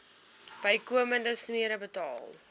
bykomende smere betaal